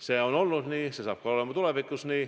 See on nii olnud, see saab nii olema ka tulevikus.